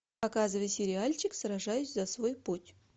показывай сериальчик сражаюсь за свой путь